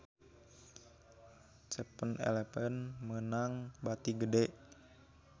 7-eleven meunang bati gede